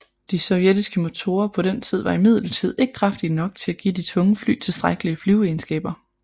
De sovjetiske motorer på den tid var imidlertid ikke kraftige nok til at give de tunge fly tilstrækkelige flyveegenskaber